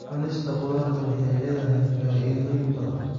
Cunista khudaarta waxay leedahay faa'iidooyin badan.